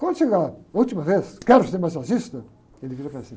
Quando chegava a última vez, quero ser massagista, ele vira para cima.